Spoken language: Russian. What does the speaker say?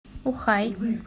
ухай